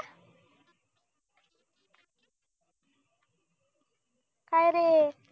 काय रे